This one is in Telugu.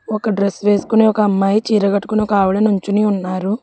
ఒక డ్రెస్ వేసుకుని ఒక అమ్మాయి చీర కట్టుకుని ఒక ఆవిడ నుంచుని ఉన్నారు.